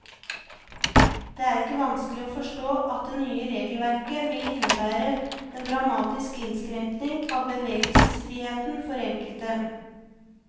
Det er ikke vanskelig å forstå at det nye regelverket vil innebære en dramatisk innskrenkning av bevegelsesfriheten for enkelte.